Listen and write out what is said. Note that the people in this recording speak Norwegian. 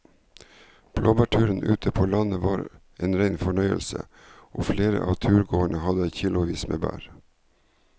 Blåbærturen ute på landet var en rein fornøyelse og flere av turgåerene hadde kilosvis med bær.